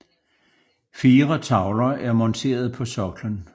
Fire tavler er monteret på soklen